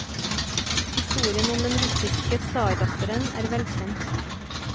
Historien om den russiske tsardatteren er velkjent.